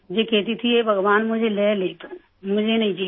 ये कहती थी कि हे भगवान मुझे ले ले तू मुझे नहीं जीना